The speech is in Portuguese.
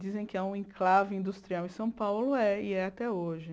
dizem que há um enclave industrial em São Paulo, é e é até hoje.